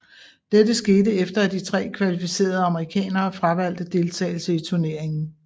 Dette skete efter at de tre kvalificerede amerikanere fravalgte deltagelse i turneringen